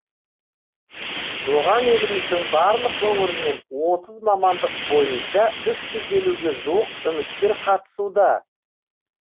оған еліміздің барлық өңірінен отыз мамандық бойынша үш жүз елуге жуық үміткер қатысуда